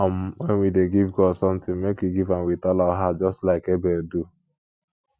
um wen we dey give god something make we give am with all our heart just like abel do